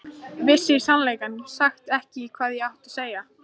Vissi í sannleika sagt ekki hvað ég átti að segja.